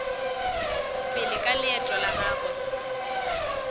pele ka leeto la gagwe